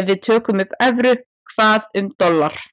ef við tökum upp evru, hvað um dollar?